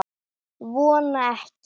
Vona ekki.